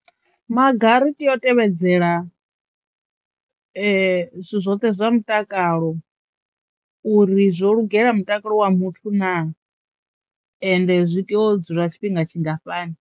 Maga ri teyo tevhedzela zwithu zwoṱhe zwa mutakalo uri zwo lugela mutakalo wa muthu naa? Ende zwi teo u dzula tshifhinga tshingafhani.